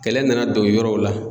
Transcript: Kɛlɛ nana don yɔrɔw la.